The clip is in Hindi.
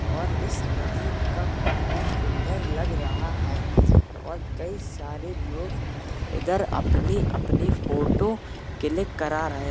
और इस नदी का पान और सुंदर लग रहा है और कई सारे लोग ईधर अपनी अपनी फोटो क्लिक करा रहे --